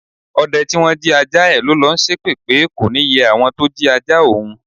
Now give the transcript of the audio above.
Ọdẹ tí wọ́n jí ajá ẹ lọ̀ ló ń ṣépè pé kò ní yẹ àwọn tó jí ajá òun.